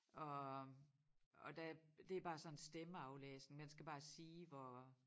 Og og der det bare sådan stemmeaflæsning man skal bare sige hvor